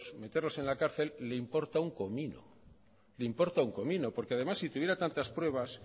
meterlos en la cárcel le importa un comino porque además si tuviera tantas pruebas